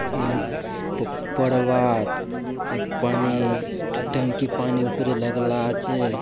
ये प-प पढ़बाआत ये पानी टंकी पानी ऊपरे लगला आछे।